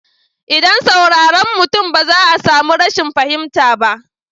ldan saurare mutum ba za a samu rashin fahimta ba.